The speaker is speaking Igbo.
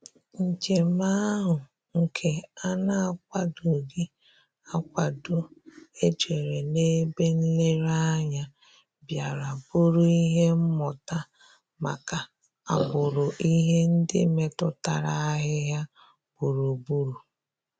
Njèm áhụ́ nke á nà-ákwàdòghị́ ákwádò éjérè n’ébè nlèrèànyà, bìàrà bụ́rụ́ ìhè mmụ́tà màkà àgbụ̀rụ̀ ìhè ndị́ métụ́tàrà àhị́hị́à gbúrù-gbúrù.